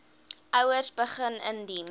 ouers begin indien